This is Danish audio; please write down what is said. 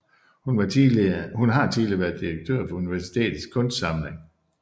Hun har tidligere været direktør for universitetets kunstsamling